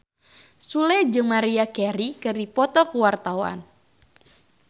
Sule jeung Maria Carey keur dipoto ku wartawan